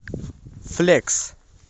флекс